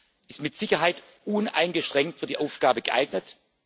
Er ist mit Sicherheit uneingeschränkt für die Aufgabe geeignet.